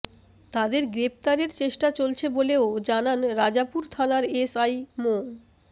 তাদের গ্রেপ্তারের চেষ্টা চলছে বলেও জানান রাজাপুর থানার এসআই মো